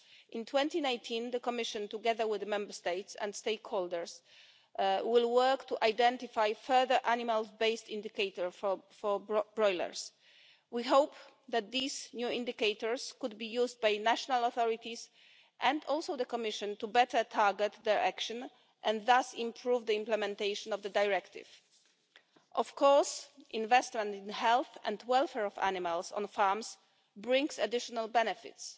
far. In 2019, the Commission, together with the Member States and stakeholders, will work to identify further animal-based indicators for broilers. We hope that these new indicators can be used by national authorities and also by the Commission to better target their action and thus improve the implementation of the directive. Investment in the health and welfare of animals on farms, of course, brings additional benefits.